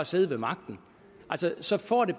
siddet ved magten så får det